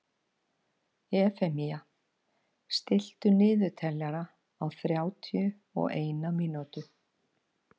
Efemía, stilltu niðurteljara á þrjátíu og eina mínútur.